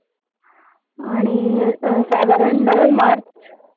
आणि अह साधारण नऊ मार्च